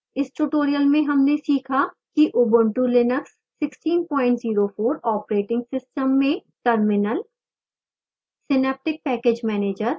इस tutorial में हमने सीखा कि ubuntu linux 1604 operating system में terminal